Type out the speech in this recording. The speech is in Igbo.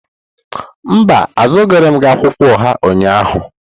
Mba, azụrụghị m akwụkwọ oha ụnyahụ.